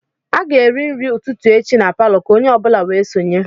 A ga-eri nri ụtụtụ echi na palọ, ka onye ọ bụla wee sonye